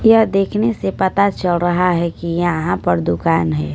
यह देखने से पता चल रहा है कि यहां पर दुकान है।